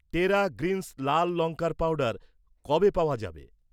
টেরা গ্রিন্স লাল লঙ্কার পাউডার কবে পাওয়া যাবে?